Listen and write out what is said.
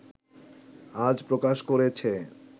আজ প্রকাশ করেছে